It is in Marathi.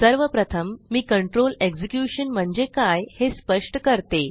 सर्वप्रथम मी कंट्रोल एक्झिक्युशन म्हणजे काय हे स्पष्ट करते